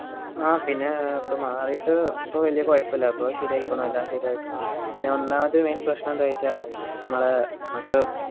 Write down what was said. ആഹ് പിന്നെ ഏർ മാറീട്ട് ഇപ്പൊ വെല്യ കൊഴപ്പില്ല ഇപ്പൊ ശരിയായിക്ക്‌ണ് എല്ലാം ശെരിയായിക്ക്ണ് പിന്നെ ഒന്നാമത് main പ്രശ്നം എന്താ ചോയ്ച്ച മ്മളെ മ്മക്ക്